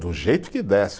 Do jeito que desse.